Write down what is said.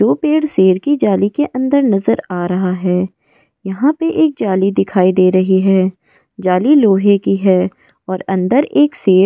जो पेड़ शेर की जाली के अंदर नज़र आ रहा हैं यहाँ पे एक जाली दिखाई दे रही हैं जाली लोहे की हैं और अंदर एक शेर --